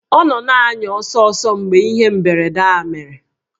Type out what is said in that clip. Ọ nọ na-anya ọsọ ọsọ mgbe ihe mberede a mere